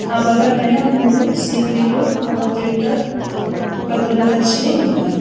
ఆ బల్ల పైన మూడు సీ_పీ_యు లు ఒక ప్రింటర్ ఒక దూరదర్శిని ఉన్నాయి.